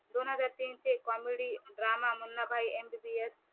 दोनहजार तीनचे comedy drama Munnabhai MBBS